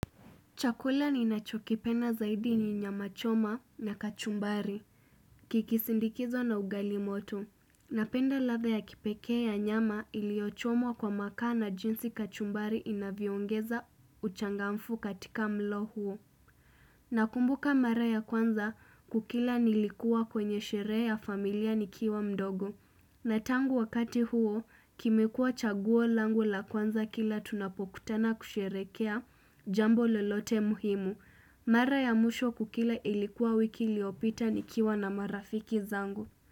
Chakula ninachokipenda zaidi ni nyama choma na kachumbari, kikisindikizwa na ugali moto. Napenda ladha ya kipekee ya nyama iliyochomwa kwa makaa na jinsi kachumbari inavyoongeza uchangamfu katika mlo huo. Nakumbuka mara ya kwanza kukila nilikuwa kwenye sherehe ya familia nikiwa mdogo. Na tangu wakati huo, kimekuwa chaguo langu la kwanza kila tunapokutana kusherehekea jambo lolote muhimu. Mara ya mwisho kukila ilikuwa wiki iliyopita nikiwa na marafiki zangu.